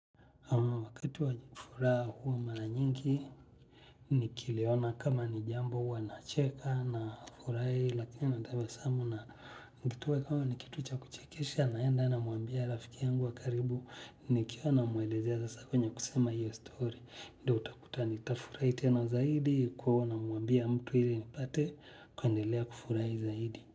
Wakati wa furaha huwa mara nyingi, nikiliona kama nijambo huwa na cheka na furahi, lakini natabasamu na ikiwa kama ni kitu cha kuchekesha naenda namwambia rafiki yangu wa karibu, nikiwa namuelezea sasa kwenye kusema hiyo story. Ndiyo utakuta nitafurahi tena zaidi, kwa hiyo namwambia mtu ili nipate, kuendelea kufurahi zaidi.